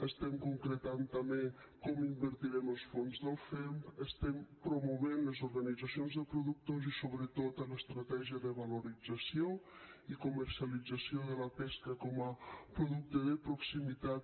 estem concretant també com invertirem els fons del femp estem promovent les organitzacions de productors i sobretot l’estratègia de valorització i comercialització de la pesca com a producte de proximitat